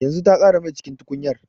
Yanzu ta ƙara mai cikin tukunyar